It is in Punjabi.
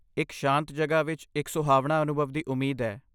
ਇੱਕ ਸ਼ਾਂਤ ਜਗ੍ਹਾ ਵਿੱਚ ਇੱਕ ਸੁਹਾਵਣਾ ਅਨੁਭਵ ਦੀ ਉਮੀਦ ਹੈ।